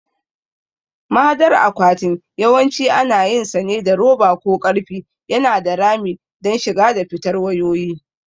Mahadar akwatin yawanci ana yinsa ne da roba ko ƙarfe yana da rami don shiga da fitar wayoyi.